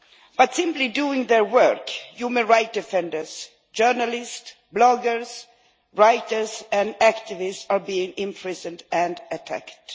By simply doing their work human rights defenders, journalists, bloggers, writers and activists are being imprisoned and attacked.